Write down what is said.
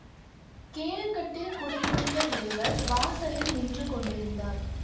கீழ்க்கட்டில் குடியிருந்த ஒருவர் வாசலில் நின்று கொண்டிருந்தார்